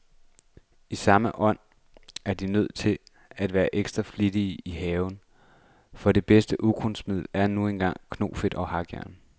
I samme ånd er de nødt til at være ekstra flittige i haven, for det bedste ukrudtsmiddel er nu engang knofedt og hakkejern.